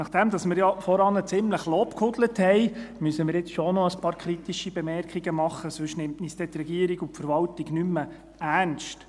Nachdem wir ja vorhin ziemlich lobgehudelt haben, müssen wir nun schon noch ein paar kritische Bemerkungen machen, sonst nehmen uns die Regierung und die Verwaltung dann nicht mehr ernst.